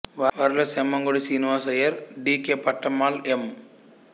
వారిలో Semmangudi Srinivasa Iyer D K Pattammal ఎం